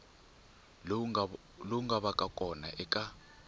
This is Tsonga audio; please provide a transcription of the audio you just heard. lowu nga vaka kona eka